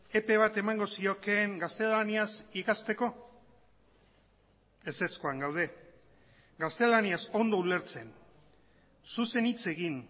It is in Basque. epe bat emango ziokeen gaztelaniaz ikasteko ezezkoan gaude gaztelaniaz ondo ulertzen zuzen hitz egin